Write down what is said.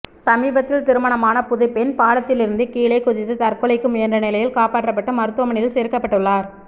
சமீபத்தில் திருமணமான புதுப்பெண் பாலத்திலிருந்து கீழே குதித்து தற்கொலைக்கு முயன்ற நிலையில் காப்பாற்றப்பட்டு மருத்துவமனையில் சேர்க்கப்பட்டுள்ளார்